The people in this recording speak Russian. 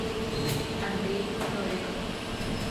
андрей новиков